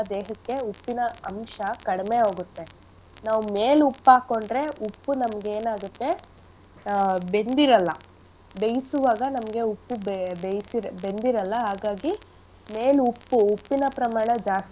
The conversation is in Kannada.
ದೇಹಕ್ಕೆ ಉಪ್ಪಿನ ಅಂಶ ಕಡ್ಮೆ ಹೋಗುತ್ತೆ ನಾವ್ ಮೇಲ್ ಉಪ್ಪ್ ಹಾಕೊಂಡ್ರೆ ಉಪ್ಪು ನಮ್ಗ್ ಏನಾಗತ್ತೆ ಆ ಬೆಂದಿರಲ್ಲ. ಬೇಯ್ಸುವಾಗ ನಮ್ಗೆ ಉಪ್ಪು ಬೇ~ ಬೇಯ್ಸಿ ಬೆಂದಿರಲ್ಲ ಹಾಗಾಗಿ ಮೇಲ್ ಉಪ್ಪು ಉಪ್ಪಿನ ಪ್ರಮಾಣ ಜಾಸ್ತಿ.